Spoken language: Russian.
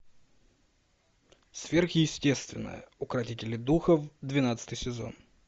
сверхъестественное укротители духов двенадцатый сезон